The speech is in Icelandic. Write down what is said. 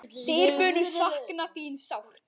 Þeir munu sakna þín sárt.